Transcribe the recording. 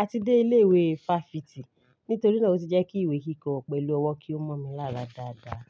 àti dé ilé ìwé fáfitì. Nítorí náà ó ti jẹ́ kí ìwé kíkọ pẹ̀lú ọwọ́ kí ó mọ́ mi lára dáadáa.